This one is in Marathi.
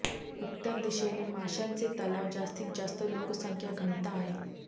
उत्तर दिशेने माशांचे तलाव जास्तीत जास्त लोकसंख्या घनता आहे